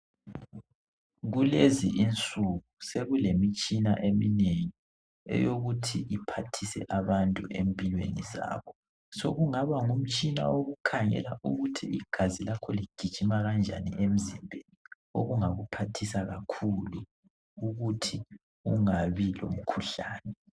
Kulezi insuku sokulemitshina eminengi eyokuthi iphathise abantu empilweni zabo sokungaba ngumtshina wokukhangela ukuthi igazi lakho ligijima kanjani emzimbeni okungakuphathisa kakhulu ukuthi ungabi lomkhuhlane